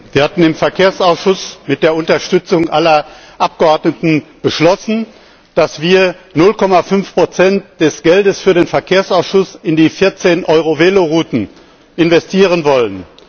Herr Präsident! Wir hatten im Verkehrsausschuss mit der Unterstützung aller Abgeordneten beschlossen, dass wir 0,5 des Geldes für den Verkehrsausschuss in die 14 EuroVelo Routen investieren wollen.